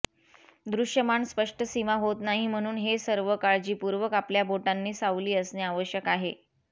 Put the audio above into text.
दृश्यमान स्पष्ट सीमा होत नाही म्हणून हे सर्व काळजीपूर्वक आपल्या बोटांनी सावली असणे आवश्यक आहे